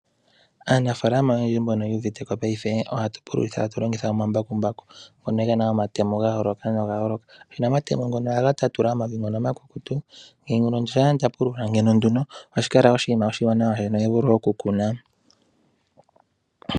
Aanafaalama oyendji mbono yu uvite ko paife ohatu pululitha tatu longitha oma mbakumbaku ngono ge na omatemo ga yooloka noga yooloka. Nena omatemo ngono ohaga tatula omavi ngono omakukutu. Thimbo limwe shampa lya pulula ngawo nduno ohashi kala oshinima oshiwanawa oku kuna.